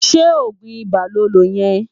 Sé ógun Ibá lón ló yen?